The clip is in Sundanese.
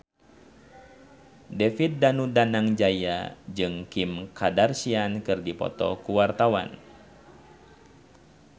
David Danu Danangjaya jeung Kim Kardashian keur dipoto ku wartawan